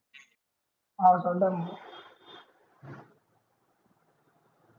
हान चालेल done